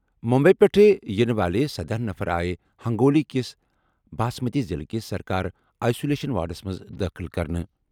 مٗمبیی پٮ۪ٹھٕ یِنہٕ وٲلہِ سدہ نفر آیہِ ہنٛگولی کِس باسمتی ضِلعہٕ کِس سرکٲرِ آئسولیشن وارڈس منٛز دٲخٕل کرنہٕ۔